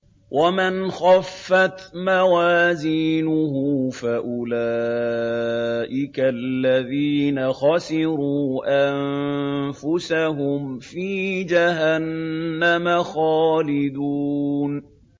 وَمَنْ خَفَّتْ مَوَازِينُهُ فَأُولَٰئِكَ الَّذِينَ خَسِرُوا أَنفُسَهُمْ فِي جَهَنَّمَ خَالِدُونَ